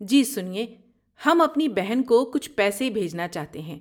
جی سنئے، ہم اپنی بہن کو کچھ پیسے بھیجنا چاہتے ہیں۔